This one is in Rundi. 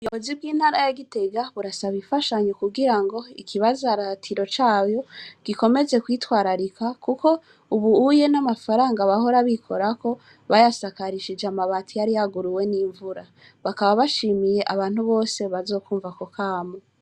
Yozi bw'intara ya gitega burasaba ifashanyu kugira ngo ikibazaratiro cayo gikomeze kwitwararika, kuko ubuuye n'amafaranga bahora bikorako bayasakarishije amabati yariyaguruwe n'imvura bakaba bashimiye abantu bose bazokwumva ko kamo.